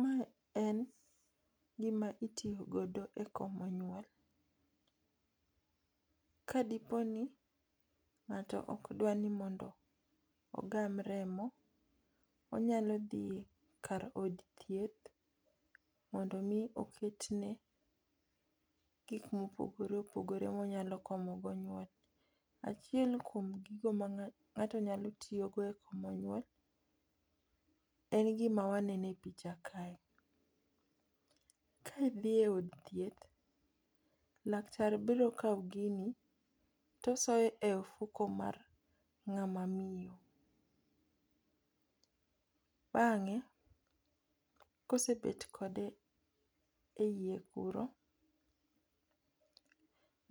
Ma en gi ma itiyo godo e komo nyuol. ka di po ni ng'ato ok dwar ni ogam remo, onyalo dhi kar od thieth mondo mi oket ne gik ma opogore opogore ma onyalo komo go nyuol. Achiel kuom gik ma ng'ato nyalo tiyo go e komo nyuol en gi ma waneno e picha kae ni. Ka idhi e od thieth, laktar biro kawo gino to osoye e ofuko mar nga ma miyo bang'e ka osebet kode e iye kuro